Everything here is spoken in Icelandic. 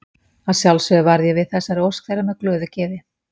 Að sjálfsögðu varð ég við þessari ósk þeirra með glöðu geði.